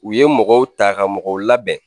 U ye mɔgɔw ta ka mɔgɔw labɛn